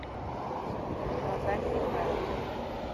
наталья михайловна